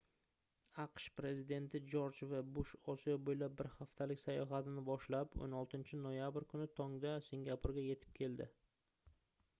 aqsh prezidenti jorj v bush osiyo boʻylab bir haftalik sayohatini boshlab 16-noyabr kuni tongda singapurga yetib keldi